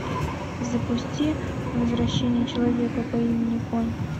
запусти возвращение человека по имени конь